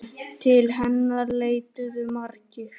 Til hennar leituðu margir.